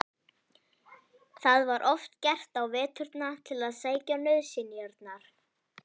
Það var oft gert á veturna til að sækja nauðsynjar.